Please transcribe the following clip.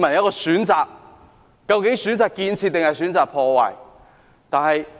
究竟大家會選擇建設還是破壞？